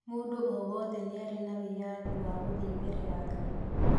Mũndũ o wothe nĩarĩ na wĩyathi wa gũthiĩ mbere ya Ngai